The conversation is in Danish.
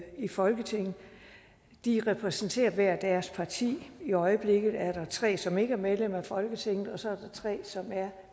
i folketinget de repræsenterer hvert deres parti i øjeblikket er der tre som ikke er medlem af folketinget og så er der tre som er